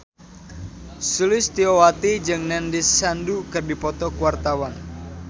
Sulistyowati jeung Nandish Sandhu keur dipoto ku wartawan